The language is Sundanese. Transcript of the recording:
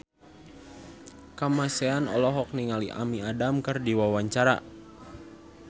Kamasean olohok ningali Amy Adams keur diwawancara